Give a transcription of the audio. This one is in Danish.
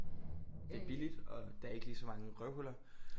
Ja det er billigt og der er ikke lige så mange røvhuller